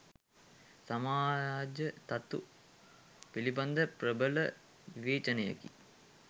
සමාජ තතු පිළිබඳ ප්‍රබල විවේචනයකි.